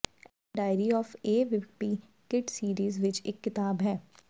ਇਹ diary of a wimpy kid series ਵਿਚ ਇਕ ਕਿਤਾਬ ਹੈ